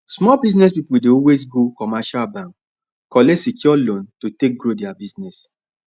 small business people dey always go commercial bank collect secured loan to take grow their business